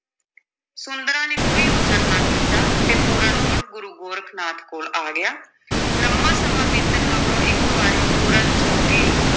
ਸੁੰਦਰਾਂ ਨੇ ਕੋਈ ਉਜਰ ਨਾ ਕੀਤਾ ਤੇ ਪੂਰਨ ਮੁੜ ਗੁਰੂ ਗੋਰਖ ਨਾਥ ਕੋਲ ਆ ਗਿਆ ਲੰਮਾਂ ਸਮਾਂ ਬੀਤਣ ਮਗਰੋਂ ਇਕ ਵਾਰੀ ਪੂਰਨ ਜੋਗੀ,